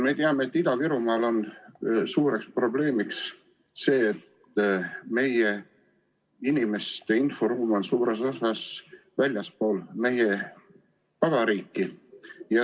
Me teame, et Ida-Virumaal on suur probleem see, et Eesti inimeste inforuum on suures osas väljaspool meie vabariiki.